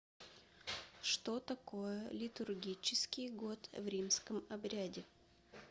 что такое литургический год в римском обряде